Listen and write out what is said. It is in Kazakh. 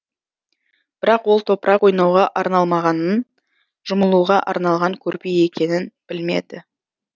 бірақ ол топырақ ойнауға арналмағанын жұмылуға арналған көрпе екенін білмеді